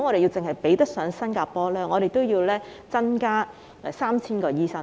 如果要比得上新加坡，香港便要增加 3,000 名醫生。